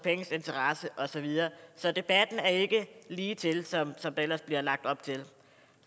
interesser og så videre så debatten er ikke lige til som der ellers er blevet lagt op til